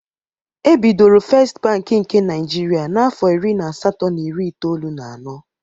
Ebidoro Fest bank nke Naịjirịa n'afọ iri na asatọ na iri itoolu na anọ.